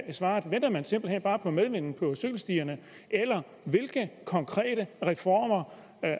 er svaret venter man simpelt hen bare på medvind på cykelstierne eller hvilke konkrete reformer